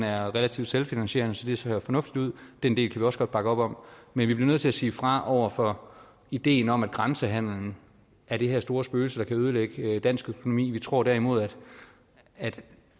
er relativt selvfinansierende så det ser fornuftigt ud den del kan vi også godt bakke op om men vi bliver nødt til at sige fra over for ideen om at grænsehandelen er det her store spøgelse der kan ødelægge dansk økonomi vi tror derimod at